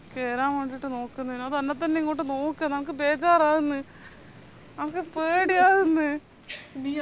കേറാൻ വേണ്ടിറ്റ് നോക്കുന്നേനു അത് എന്നെത്തന്നെ ഇങ്ങോട്ട് നോക്കുന്ന് എനക്ക് ബേജാറാവന്ന് എനക്ക് പേടിയവന്ന്